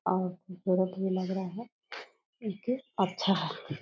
और खूबसूरत भी लग रहा है इके अच्छा है।